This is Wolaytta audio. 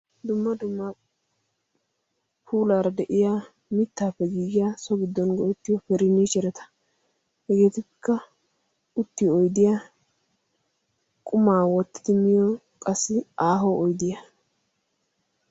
Dumma dumma puulaara de'iya mittaappe giigiya so giddon go'ettiyo perinni herata hegeetikka uttiyo oidiya qumaa woottidi miyo qassi aaho oydiyaa.